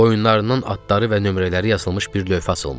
Boyunlarından adları və nömrələri yazılmış bir lövhə asılmışdı.